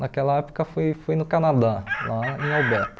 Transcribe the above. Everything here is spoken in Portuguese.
Naquela época foi foi no Canadá, lá em Alberta.